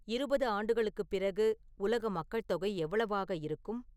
இருபது ஆண்டுகளுக்குப் பிறகு உலக மக்கள் தொகை எவ்வளவு இருக்கும்